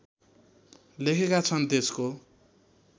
लेखेका छन् देशको